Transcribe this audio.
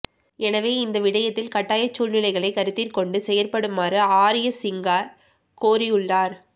எனவே இந்த விடயத்தில் கட்டாயச் சூழ்நிலைகளை கருத்திற்கொண்டு செயற்படுமாறு ஆரியசிங்க கோரியுள்ளார்